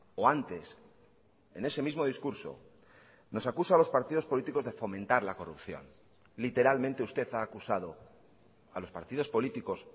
o antes en ese mismo discurso nos acusa a los partidos políticos de fomentar la corrupción literalmente usted ha acusado a los partidos políticos